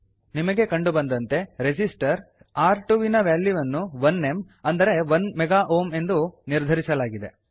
ನಿಮಗೆ ಕಂಡು ಬಂದತೆ ರಿಸಿಸ್ಟರ್ ರ್2 ವಿನ ವಾಲ್ಯೂವನ್ನು 1M1 ಮೆಗಾ ಒಹ್ಮ್ ಎಂದು ನಿರ್ಧರಿಸಲಾಗಿದೆ